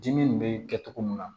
Dimi nin bɛ kɛ cogo min na